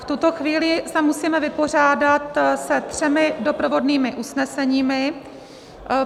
V tuto chvíli se musíme vypořádat se třemi doprovodnými usneseními.